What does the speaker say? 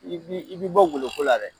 I bi i bi bɔ goloko la dɛ.